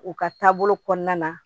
U ka taabolo kɔnɔna na